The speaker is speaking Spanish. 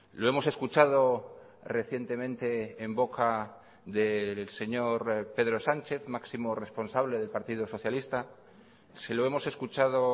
lo hemos escuchado recientemente en boca del señor pedro sánchez máximo responsable del partido socialista se lo hemos escuchado